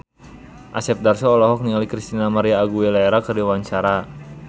Asep Darso olohok ningali Christina María Aguilera keur diwawancara